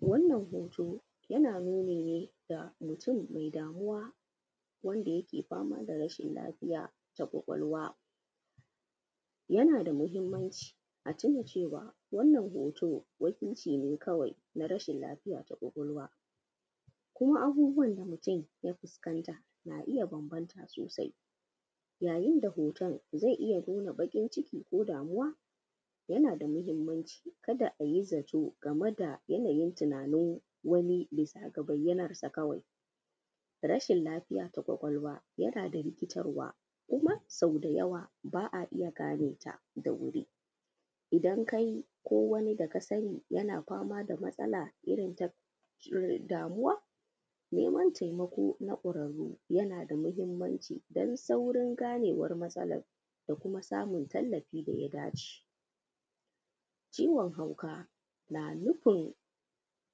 Wannan hoto yana nuni ne da mutum mai damuwa wanda yake fama da rashin lafiya ta kwakwalwa yana da mahimmanci a tuna cewa wannan hoto wakilci ne kawai na rashin lafiya ta kwakwalwa kuma abubuwan da mutum ya fuskanta na iya bambanta sosai yayin da hoton zai iya nuna baƙin ciki ko damuwa. Yana da mahimmanci ka da a yi zaton game da yanayin tunanin wani bisa ga bayanarsa kawai, rashin lafiya na kwakwalwa yana da rikitarwa kuma sau da yawa ba a iya gane ta da wuri, idan kai ko wanda ka sani yana fama da matsala irin ta damuwa, neman taimako na ƙurare yana da mahimmanci dan saurin ganewar matsalar da kuma samun tallafi da ya dace. Ciwon hauka na nufin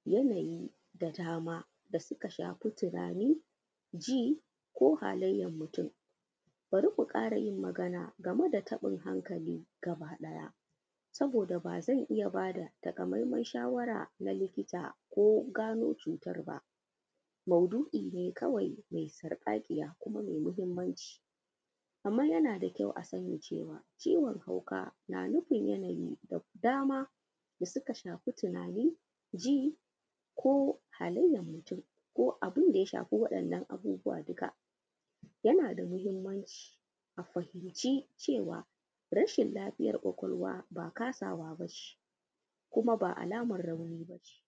yanayi da dama suka shafi tunani ji ko halayar mutum, bari ku ƙara magana game da taɓin hankali gabaɗaya saboda ba zai iya ba da takamamen shawara na likita ko gano cutar ba, maudu’i ne kawai me sarƙaƙiya kuma mai mahimmanci amma yana da kyau a sani cewa ciwon hauka na nufin yanayi da dama da suka shafi tunani, ji ko halayar mutum ko abin da ya shafi wannan abubuwa duka, yana da mahimmanci a fahimci cewa rashin lafiyar kwakwalwa ba kasawa ba ce kuma ba alamar rauni ba ce.